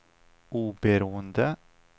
oberoende